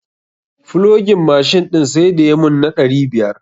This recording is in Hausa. Flogin mashin ɗin sai da ya mun na ɗari biyar.